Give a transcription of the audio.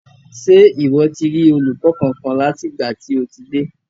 Ṣe iwọ ti rí olùkọ kánkan láti ìgbà tí o ti dé.